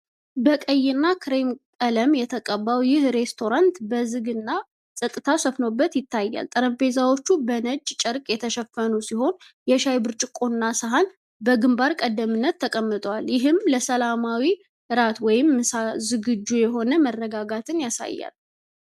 በቀይና ክሬም ቀለም የተቀባው ይህ ሬስቶራንት በዝግ እና ጸጥታ ሰፍኖበት ይታያል። ጠረጴዛዎቹ በነጭ ጨርቅ የተሸፈኑ ሲሆን፣ የሻይ ብርጭቆና ሳህን በግንባር ቀደምትነት ተቀምጠዋል። ይህም ለሰላማዊ እራት ወይም ምሳ ዝግጁ የሆነ መረጋጋትን ያሳያል።